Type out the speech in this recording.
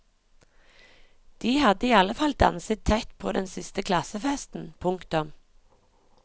De hadde i alle fall danset tett på den siste klassefesten. punktum